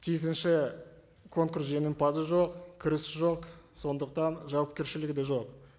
тиісінші конкурс жеңімпазы жоқ кірісі жоқ сондықтан жауапкершілігі де жоқ